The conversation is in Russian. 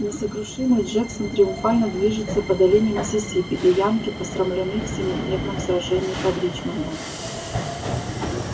несокрушимый джексон триумфально движется по долине миссисипи и янки посрамлены в семидневном сражении под ричмондом